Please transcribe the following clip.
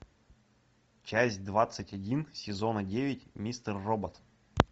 часть двадцать один сезона девять мистер робот